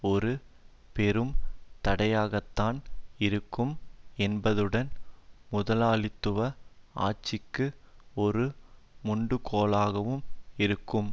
ஒரு பெரும் தடையாகத்தான் இருக்கும் என்பதுடன் முதலாளித்துவ ஆட்சிக்கு ஒரு முண்டுகோலாகவும் இருக்கும்